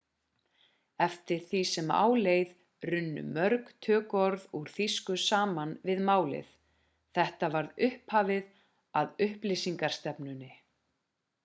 eftir því sem á leið runnu mörg tökuorð úr þýsku saman við málið þetta var upphafið að upplýsingarstefnunni